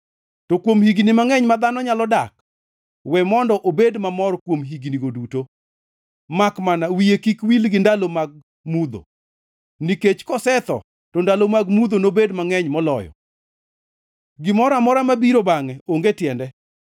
To kuom higni mangʼeny ma dhano nyalo dak, we mondo obed mamor kuom hignigo duto. Makmana wiye kik wil gi ndalo mag mudho nikech kosetho to ndalo mag mudho nobed mangʼeny moloyo. Gimoro amora mabiro bangʼe onge tiende.